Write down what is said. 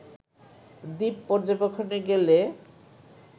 দ্বীপ পর্যবেক্ষণে গেলে